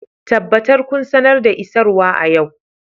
Tabbatar kun sanar da isarwa a yau